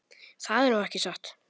Það er nú ekki satt.